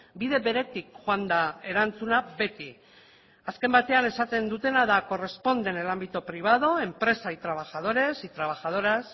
bide beretik joan da erantzuna beti azken batean esaten dutena da corresponde en el ámbito privado empresa y trabajadores y trabajadoras